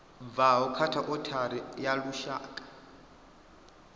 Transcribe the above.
bvaho kha othari ya lushaka